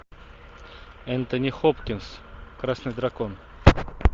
энтони хопкинс красный дракон